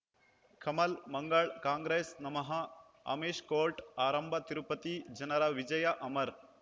ಕಮಲ್ ಮಂಗಳ್ ಕಾಂಗ್ರೆಸ್ ನಮಃ ಅಮಿಷ್ ಕೋರ್ಟ್ ಆರಂಭ ತಿರುಪತಿ ಜನರ ವಿಜಯ ಅಮರ್